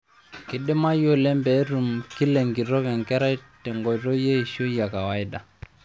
Keidimayu oleng pee etum kila enkitok enkerai tenkoitoi eishoi ekawaida.